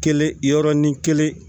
Kelen yɔrɔnin kelen